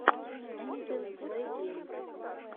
энзель плейгеймс